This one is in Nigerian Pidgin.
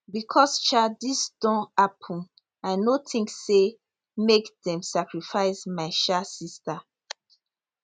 becos um dis don happun i no tink say make dem sacrifice my um sista